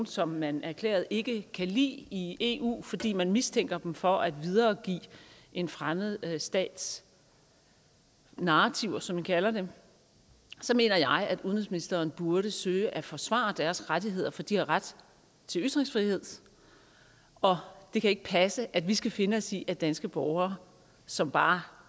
som man erklæret ikke kan lide i eu fordi man mistænker dem for at videregive en fremmed stats narrativer som man kalder det så mener jeg at udenrigsministeren burde søge at forsvare deres rettigheder for de har ret til ytringsfrihed og det kan ikke passe at vi skal finde os i at danske borgere som bare